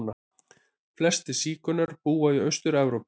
Flestir sígaunar búa í Austur-Evrópu.